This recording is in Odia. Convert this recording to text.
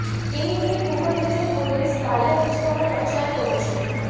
କେହି କେହି କୁହନ୍ତି ଯେ ପୋଲିସ କାଳିଆ ଯୋଜନାର ପ୍ରଚାର କରୁଛି